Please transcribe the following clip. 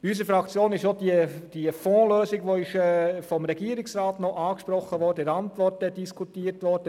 In unserer Fraktion wurde auch die Fondslösung diskutiert, die vom Regierungsrat in seiner Antwort angesprochen wurde.